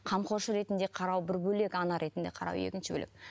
қамқоршы ретінде қарау бір бөлек ана ретінде қарау екінші бөлек